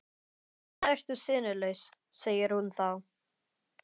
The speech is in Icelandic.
Svona ertu sinnulaus, segir hún þá.